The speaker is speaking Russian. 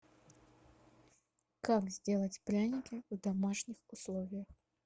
как сделать пряники в домашних условиях